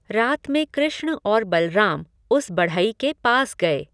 रात में कृष्ण और बलराम उस बढ़ई के पास गए।